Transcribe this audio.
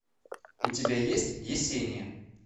у тебя есть есения